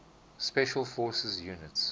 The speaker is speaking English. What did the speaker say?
special forces units